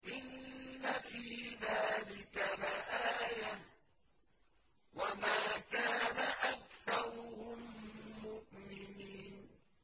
إِنَّ فِي ذَٰلِكَ لَآيَةً ۖ وَمَا كَانَ أَكْثَرُهُم مُّؤْمِنِينَ